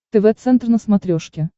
тв центр на смотрешке